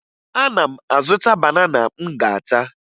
Ana m azụta banana m ga-ata